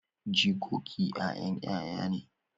Jikoki 'ya'yan 'ya'ya ne.